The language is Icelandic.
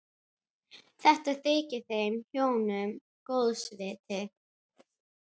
Þetta þykir þeim hjónum góðs viti.